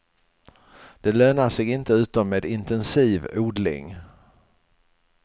Det lönar sig inte utom med intensiv odling.